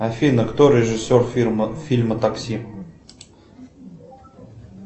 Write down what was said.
афина кто режиссер фильма такси